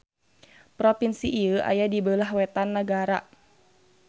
Propinsi ieu aya di beulah wetan nagara.